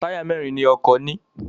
Táyà mẹ́rin ni ọkọ̀ ní.